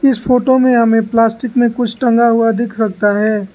इस फोटो में हमें प्लास्टिक में कुछ टंगा हुआ दिख सकता है।